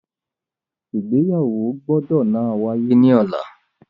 Igbeyawo gbọdọ náà waye ni ọla!